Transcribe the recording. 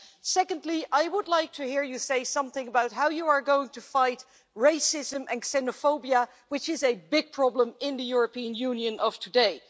Secondly, I would like to hear you say something about how you are going to fight racism and xenophobia, which is a big problem in the European Union of today.